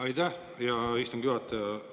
Aitäh, hea istungi juhataja!